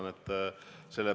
Muidugi vastan.